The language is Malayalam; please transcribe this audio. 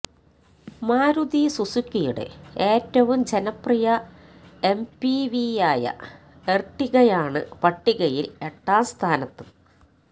മാരുതി സുസുക്കിയുടെ ഏറ്റവും ജനപ്രിയ എംപിവിയായ എര്ട്ടിഗയാണ് പട്ടികയില് എട്ടാം സ്ഥാനത്ത്